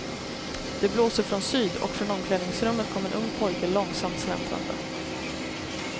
Det blåser från syd, och från omklädningsrummet kommer en ung pojke långsamt släntrande.